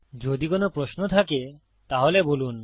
যদি কোনো প্রশ্ন থাকে তাহলে বলুন